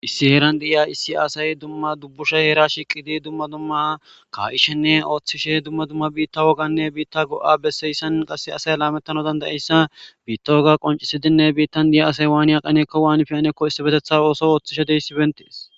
Issi heeran di7iya issi asay dumma dubbushe heera shiiqidi dumma dumma kaa7ishenne ooththishe dumma dumma biitta woganne biitta go7a besseyssan qass asay laamettano dandayeyssa biitta woga qoncisidinne biittan di7ya asay waaniya qaneekko waanfi anekko issi betetha ooso ooththishe dey sibentees.